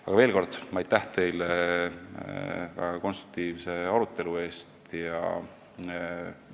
Aga veel kord, aitäh teile väga konstruktiivse arutelu eest!